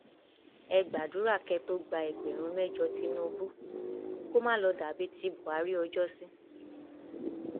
ẹ gbàdúrà kẹ ẹ tóó gba ẹgbẹrún mẹjọ tìnùbù kó má lọọ dà bíi ti buhari ọjọsí